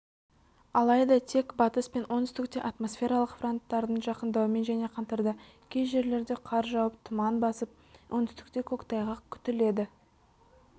алайда тек батыс пен оңтүстікте атмосфералық фронттардың жақындауымен және қаңтарда кей жерлерде қар жауып тұман басып оңтүстікте көктайғақ күтіледі